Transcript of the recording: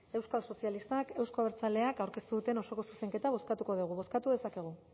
euskal sozialistak euzko abertzaleak aurkeztu duten osoko zuzenketa bozkatuko dugu bozkatu dezakegu